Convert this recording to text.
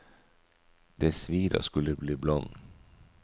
Det svir å skulle bli blond.